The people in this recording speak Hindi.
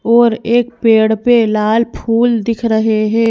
और एक पेड़ पे लाल फूल दिख रहे हैं।